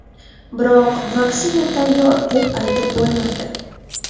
Biroq vaksina tayyor deb aytib bo‘lmaydi.